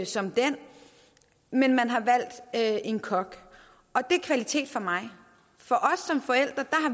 som den men man har valgt en kok og det er kvalitet for mig